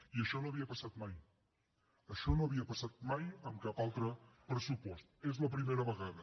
i això no havia passat mai això no havia passat mai amb cap altre pressupost és la primera vegada